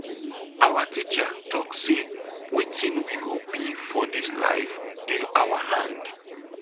our teacher talk sey wetin we go be for dis life dey our hand.